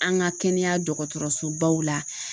An ka kɛnɛya dɔgɔtɔrɔsobaw la